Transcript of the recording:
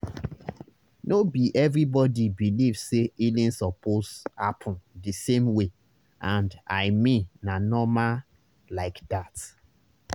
no be everybody believe say healing suppose happen the same way and i mean na normal like that.